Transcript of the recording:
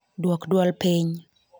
dwok dwol piny